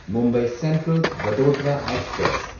Mumbai central Vadodara express